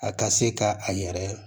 A ka se ka a yɛrɛ